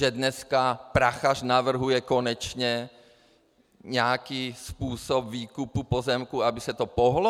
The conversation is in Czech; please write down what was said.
Že dneska Prachař navrhuje konečně nějaký způsob výkupu pozemku, aby se to pohnulo?